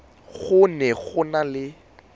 go ne go na le